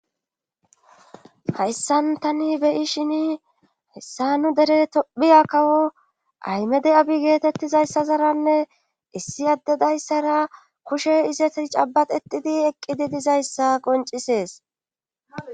Hayssan tani beyishin hessa nu dere tophiya kawo aymede7abi geetettizayssazaranne issi addedayssara kushe ize cabaxetidi eqqidi dizayssa qoncisees.